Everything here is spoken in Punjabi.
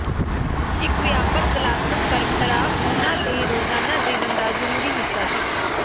ਇਕ ਵਿਆਪਕ ਕਲਾਤਮਕ ਪਰੰਪਰਾ ਉਹਨਾਂ ਦੇ ਰੋਜ਼ਾਨਾ ਜੀਵਨ ਦਾ ਜ਼ਰੂਰੀ ਹਿੱਸਾ ਸੀ